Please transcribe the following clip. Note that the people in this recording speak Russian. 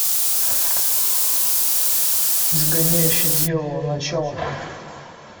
изгоняющий дьявола начало